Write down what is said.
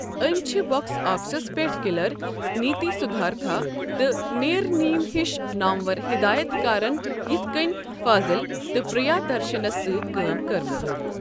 أمۍ چھِ باکس آفسَس پٮ۪ٹھ کِلر، نیتی سدھارتھا، تہٕ نیرنیم ہِش نامور ہدایت کارَن یِتھ کٔنۍ فاضل تہٕ پریادرشنَس سۭتۍ کٲم کٔرمٕژ۔